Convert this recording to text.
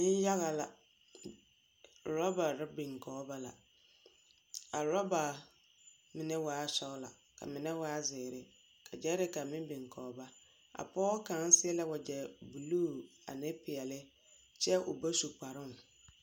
Neŋyaga la. Orͻbare biŋ kͻge ba la. A orͻba mine waa sͻgelͻ ka mine waa zeere ka gyԑԑreka meŋ biŋ kͻge ba. A pͻge kaŋa seԑ la wagyԑ buluu ane peԑle kyԑ oba su kparoŋ.